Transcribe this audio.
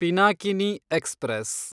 Pinakini express